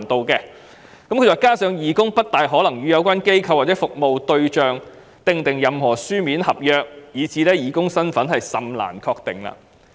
此外，政府說"加上義工不大可能與有關機構或其服務對象簽訂任何書面合約，以致義工身份甚難確定"。